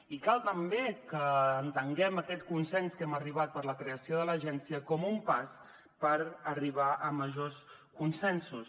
i cal també que entenguem aquest consens a què hem arribat per a la creació de l’agència com un pas per arribar a majors consensos